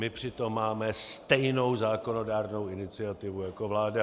My přitom máme stejnou zákonodárnou iniciativu jako vláda.